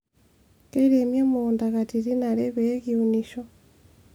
keiremi emukunta katitin are pee kiunisho